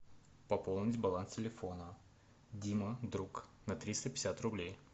пополнить баланс телефона дима друг на триста пятьдесят рублей